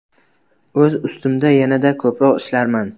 O‘z ustimda yanada ko‘proq ishlarman.